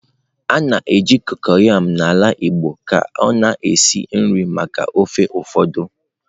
A na-eji kokoyam n'ala Igbo ka ọ na-esi nri maka ofe ụfọdụ.